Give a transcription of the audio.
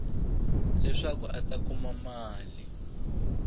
leswaku a ta kuma mali